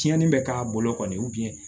Tiɲɛni bɛ k'a bolo kɔni